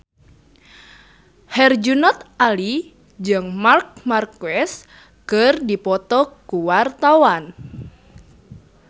Herjunot Ali jeung Marc Marquez keur dipoto ku wartawan